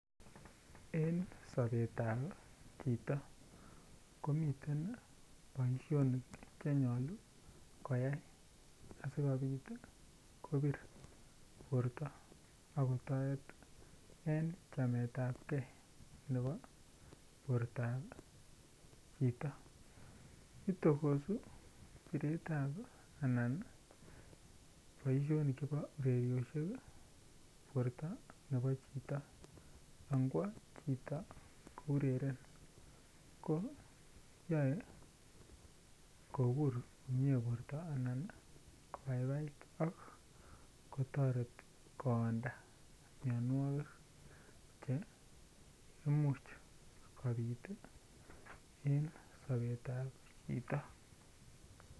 En sobet ab chito komiten boisionik Che nyolu asikobit kobir borto ak kotoret en chameetapgei nebo borto ab chito itokosu boisionik chebo ureriosiek borto nebo chito anwgwo chito ko ureren ko toreti koonda mianwogik Che Imuch kobit en sobetab chito